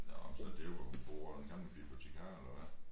Nå så det jo hvor hun bor den gamle bibliotikar eller hvad?